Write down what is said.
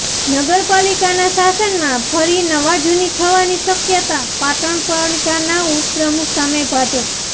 નગરપાલિકાના શાસનમાં ફરી નવાજૂની થવાની શક્યતા પાટણ પાલિકાના ઉપપ્રમુખ સામે ભાજપ